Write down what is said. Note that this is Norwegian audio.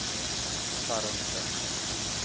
færreste